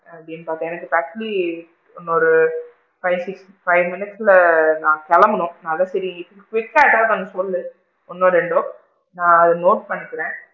அப்படின்னு பாத்தேன் எனக்கு இப்ப actually இன்னொரு five six five minutes குள்ள நான் கெளம்பனும் அதான் சேரி quick கா ஏதாவது ஒன்னு சொல்லு? ஒன்னோ ரெண்டோ நான் அத note பண்ணிக்கிறேன்